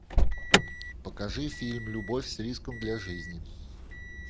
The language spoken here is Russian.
покажи фильм любовь с риском для жизни